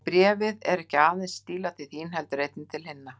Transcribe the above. Og bréfið er ekki aðeins stílað til þín heldur einnig til hinna.